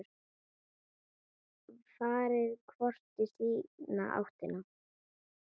Farið hvort í sína áttina.